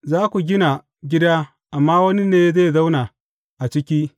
Za ku gina gida amma wani ne zai zauna a ciki.